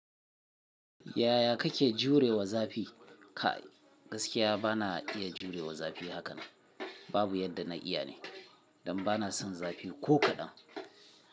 Yaya kake jurewa zafi? Kai gaskiya bana iya jurewa zafi haka nan. Babu yadda na iya ne, dan bana son zafi ko kaɗan.